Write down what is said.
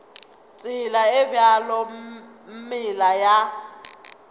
tsela e bjalo meela ya